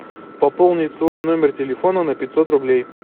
пополнить свой номер телефона на пятьсот рублей